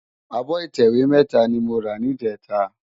Ábò itèwé mètá ni mó rá nijètá